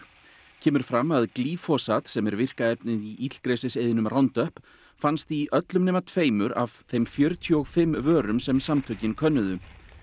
kemur fram að glýfosat sem er virka efnið í illgresiseyðinum Roundup fannst í öllum nema tveimur af þeim fjörutíu og fimm vörum sem samtökin könnuðu